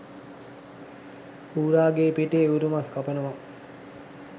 ඌරගේ පිටේ ඌරුමස් කපනවා